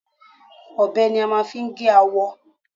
Ọbẹ̀ ni a máa fi gé awọ.